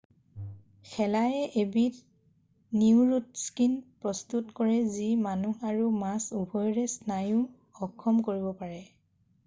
শেলায়ে এবিধ নিউৰোটক্সিন প্ৰস্তুত কৰে যি মানুহ আৰু মাছ উভয়ৰে স্নায়ু অক্ষম কৰিব পাৰে